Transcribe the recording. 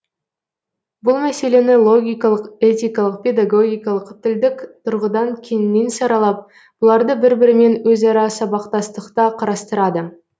бұл мәселені логикалық этикалық педогогикалық тілдік тұрғыдан кеңінен саралап бұларды бір бірімен өзара сабақтастықта қарастырады